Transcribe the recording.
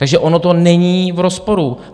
Takže ono to není v rozporu.